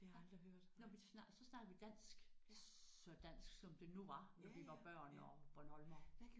Ja når vi så snakkede vi dansk så dansk som det nu var når vi var børn og bornholmere